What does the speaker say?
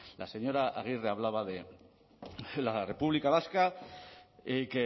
la señora agirre hablaba de la república vasca y